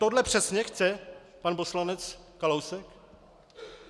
Tohle přesně chce pan poslanec Kalousek?